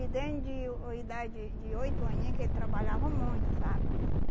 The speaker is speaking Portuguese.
E den de uh idade de oito aninho que ele trabalhava muito, sabe?